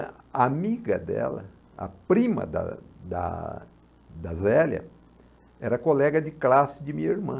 A amiga dela, a prima da da da Zélia, era colega de classe de minha irmã.